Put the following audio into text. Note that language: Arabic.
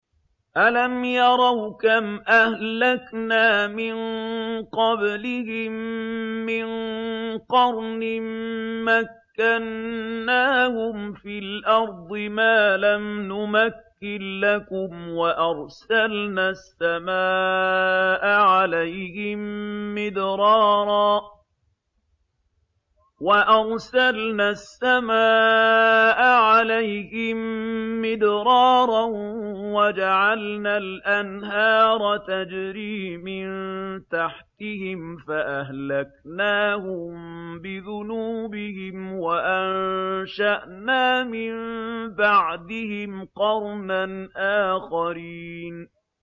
أَلَمْ يَرَوْا كَمْ أَهْلَكْنَا مِن قَبْلِهِم مِّن قَرْنٍ مَّكَّنَّاهُمْ فِي الْأَرْضِ مَا لَمْ نُمَكِّن لَّكُمْ وَأَرْسَلْنَا السَّمَاءَ عَلَيْهِم مِّدْرَارًا وَجَعَلْنَا الْأَنْهَارَ تَجْرِي مِن تَحْتِهِمْ فَأَهْلَكْنَاهُم بِذُنُوبِهِمْ وَأَنشَأْنَا مِن بَعْدِهِمْ قَرْنًا آخَرِينَ